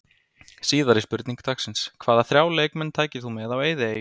Síðari spurning dagsins: Hvaða þrjá leikmenn tækir þú með á eyðieyju?